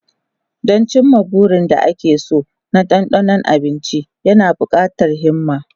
Don cimma burin da ake so da dandano abinci yana buƙatar himma.